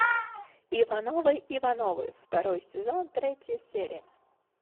ивановы ивановы второй сезон третья серия